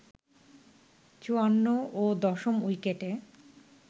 ৫৪ ও দশম উইকেটে